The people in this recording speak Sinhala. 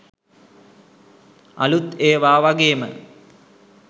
අළුත් ඒවා වගේම